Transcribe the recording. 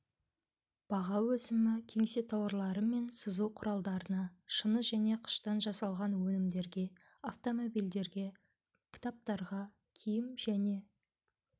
баға өсімі кеңсе тауарлары мен сызу құралдарына шыны және қыштан жасалған өнімдерге автомобильдерге кітаптарға киім және